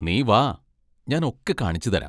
നീ വാ, ഞാൻ ഒക്കെ കാണിച്ചുതരാം.